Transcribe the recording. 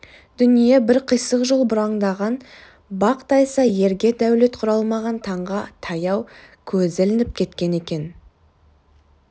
дүние бір қисық жол бұраңдаған бақ тайса ерге дәулет құралмаған таңға таяу көзі ілініп кеткен екен